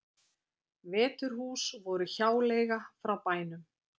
Veturhús voru hjáleiga frá bænum